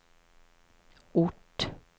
ort